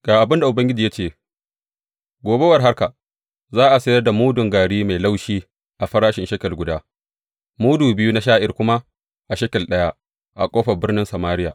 Ga abin da Ubangiji ya ce, gobe war haka, za a sayar da mudun gari mai laushi a farashin shekel guda, mudu biyu na sha’ir kuma a shekel ɗaya a ƙofar birnin Samariya.